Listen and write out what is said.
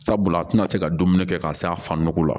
Sabula a tɛna se ka dumuni kɛ ka se a fanko la